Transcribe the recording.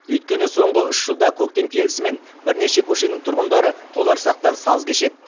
өйткені соңғы үш жылда көктем келісімен бірнеше көшенің тұрғындары толарсақтан саз кешеді